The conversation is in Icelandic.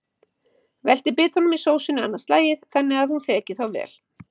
Veltið bitunum í sósunni annað slagið þannig að hún þeki þá vel.